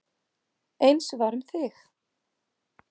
Eins var um þig.